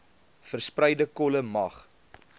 verspreide kolle mag